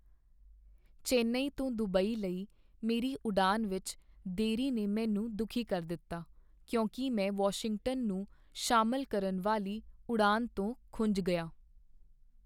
ਚੇਨਈ ਤੋਂ ਦੁਬਈ ਲਈ ਮੇਰੀ ਉਡਾਣ ਵਿੱਚ ਦੇਰੀ ਨੇ ਮੈਨੂੰ ਦੁਖੀ ਕਰ ਦਿੱਤਾ ਕਿਉਂਕਿ ਮੈਂ ਵਾਸ਼ਿੰਗਟਨ ਨੂੰ ਸ਼ਾਮਿਲ ਕਰਨ ਵਾਲੀ ਉਡਾਣ ਤੋਂ ਖੁੰਝ ਗਿਆ।